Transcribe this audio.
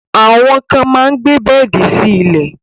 Àwọn kan máa gbé bẹ́ẹ̀di sí ilẹ̀